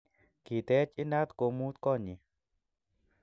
Kiteech inat komuut konyyi